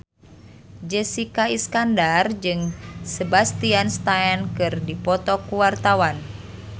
Jessica Iskandar jeung Sebastian Stan keur dipoto ku wartawan